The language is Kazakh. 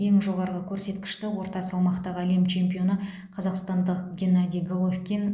ең жоғары көрсеткішті орта салмақтағы әлем чемпионы қазақстандық геннадий головкин